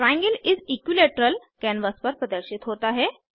triangle इस equilateral canvas पर प्रदर्शित होता है